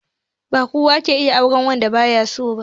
Ba kowa ke iya auren wanda ba ya so ba